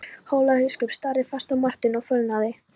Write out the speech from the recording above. Hólabiskup starði fast á Martein og fölnaði.